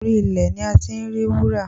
Orí ilẹ̀ ni a ti ń rí wúrà